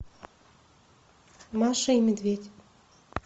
маша и медведь